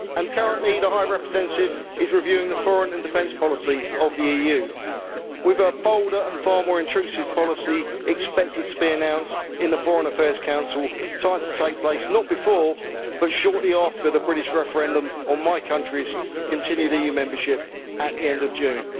Currently, the High Representative is reviewing the foreign and defence policy of the EU, with her bolder and far more intrusive policy expected to be announced in the Foreign Affairs Council timed to take place not before, but shortly after, the British referendum on my country's continued EU membership at the end of June.